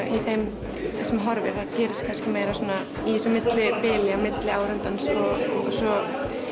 í þeim sem horfir að það gerist kannski meira svona í þessu millibili á milli áhorfandans og svo